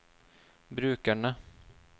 brukerne